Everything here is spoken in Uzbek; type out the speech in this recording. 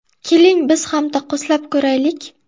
Keling, biz ham taqqoslab ko‘raylik!